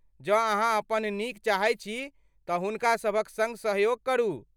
जँ अहाँ अपन नीक चाहैत छी तँ हुनका सभक सङ्ग सहयोग करू।